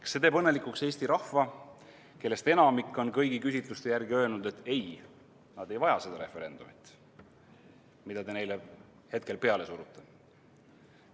Kas see teeb õnnelikuks Eesti rahva, kellest enamik on kõigi küsitluste järgi öelnud, et ei, nad ei vaja seda referendumit, mida te neile hetkel peale surute?